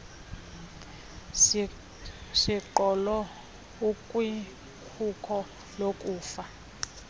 siqholo ukwikhuko lokufa